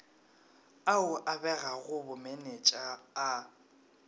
ao a begago bomenetša a